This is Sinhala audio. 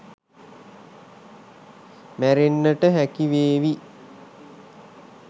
මැරෙන්නට හැකි වේවි.